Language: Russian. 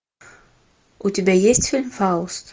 у тебя есть фильм фауст